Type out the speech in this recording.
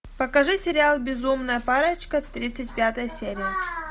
покажи сериал безумная парочка тридцать пятая серия